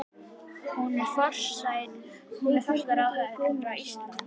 Hún er forsætisráðherra Íslands.